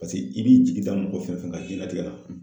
Paseke i b'i jigi da mɔgɔ fɛn fɛn kan jilatigɛ la